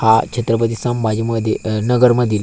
हा छत्रपती संभाजी मध्ये नगरमधील--